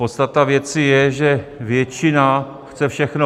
Podstata věci je, že většina chce všechno.